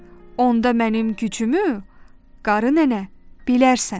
Onda mənim gücümü, qarı nənə, bilərsən.